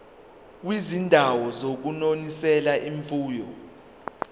kwizindawo zokunonisela imfuyo